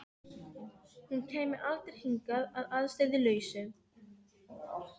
Hún kæmi aldrei hingað að ástæðulausu.